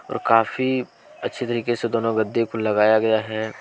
और काफी अच्छे तरीके से दोनों गद्दे को लगाया गया है।